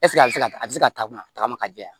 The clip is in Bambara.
a bɛ se ka a bɛ se ka tagama tagama ka jɛ wa